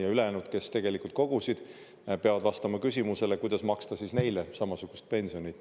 Ja ülejäänud, kes tegelikult kogusid, peavad vastama küsimusele, kuidas maksta neile samasugust pensionit.